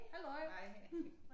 Halløj